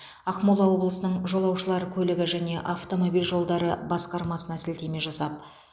ақмола облысының жолаушылар көлігі және автомобиль жолдары басқармасына сілтеме жасап